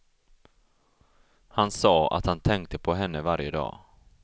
Han sa att han tänkte på henne varje dag.